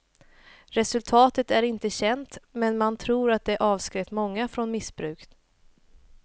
Resultatet är inte känt men man tror det avskräckt från missbruk.